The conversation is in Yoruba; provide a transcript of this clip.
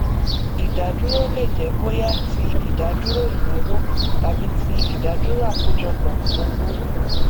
ìdádúró lè jẹ bóyá ti ìdádúró ìnáwó tàbí ti ìdádúró àkọjọpọ owó